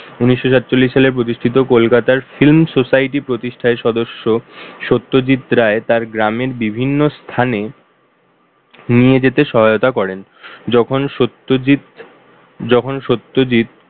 উনিশশো চল্লিশ সালে প্রতিষ্ঠিত কলকাতার Film Society প্রতিষ্ঠায় সদস্য সত্যজিৎ রায় তার গ্রামের বিভিন্ন স্থানে নিয়ে যেতে সহায়তা করেন। যখন সত্যজিত, যখন সত্যজিত